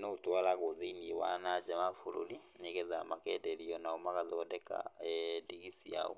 noũtwaragũo thĩiniĩ wa nanja wa bũrũri, nĩgetha makenderio onao magathondeka ndigi ciao.